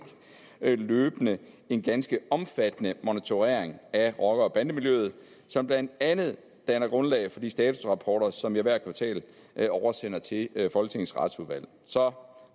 løbende en ganske omfattende monitorering af rocker og bandemiljøet som blandt andet danner grundlag for de statusrapporter som jeg hvert kvartal oversender til folketingets retsudvalg så